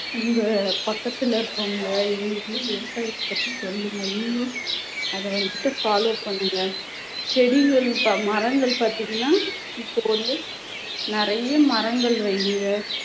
உங்க பக்கத்துல இருக்கவங்க இவங்களுக்கெல்லாம் விவசாயத்தைப் பத்தி சொல்லுங்க நீங்களும் அதை வந்துட்டு follow பண்ணுங்க செடிகள் இப்ப மரங்கள் பாத்தீங்கன்னா இப்போ வந்து நிறைய மரங்கள் வையுங்க